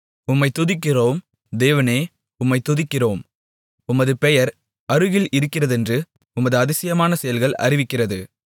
உம்மைத் துதிக்கிறோம் தேவனே உம்மைத் துதிக்கிறோம் உமது பெயர் அருகில் இருக்கிறதென்று உமது அதிசயமான செயல்கள் அறிவிக்கிறது